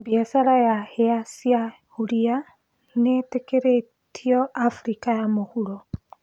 Mbiacara ya hĩa cia huria nĩitĩkĩrĩtio Afrika ya mũhuro